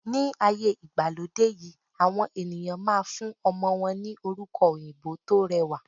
Ní ayé ìgbàlódé yìí, àwọn ènìyàn máa fún ọmọ ní àwọn orúkọ òyìnbó tó rẹwà.